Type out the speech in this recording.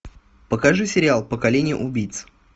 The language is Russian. покажи сериал поколение убийц